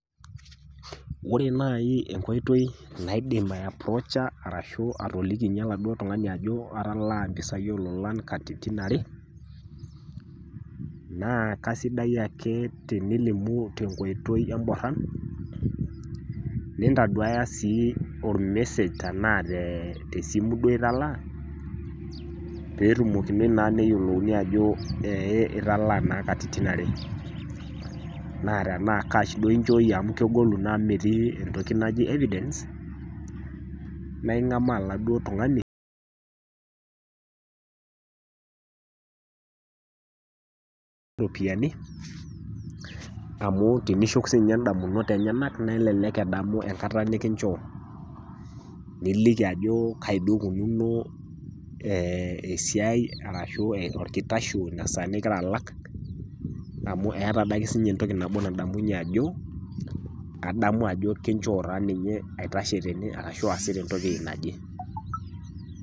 Ore naaji enkoitoi naidim aiaprocha arashu atolikinye oladuo tung'ani ajo atalaa impisai oo lolan katitin are naa kaisidai ake tinilimu tenkoitoi emboran, nintaduaya sii olmesej tanaa duo te esimu duo italaa, peetumokinoi naa ajo ee naa italaa naa katitin are. Naa tana kash duo inchooyie naa amu kegolu naa amu metii entoki najoi evidence naa ing'amaa oladuo tung'ani,[silent]iropiani, amu tenishuk sii ninye indamunot enyena, nelelek edamu enkata nikinchoo, niliki kai eikununo duo esiai ashu olkitasho, essaa ning'ira alak, amu eata adake sii ninye entoki nabo nadamunye ajo adamu ajo kinchoo taa ninye aitashe tene ashu aasita entoki naje.